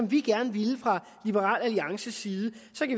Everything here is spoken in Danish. vi gerne ville fra liberal alliances side